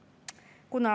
Kuhu me kiirustame?